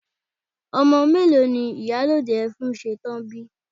Ọmọ mélòó ni ìyálòde Ẹfúnsetán bi?